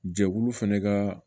Jɛkulu fɛnɛ ka